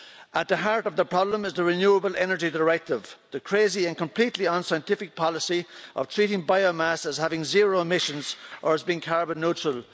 At the heart of the problem is the renewable energy directive the crazy and completely unscientific policy of treating biomass as having zero emissions or as being carbon neutral.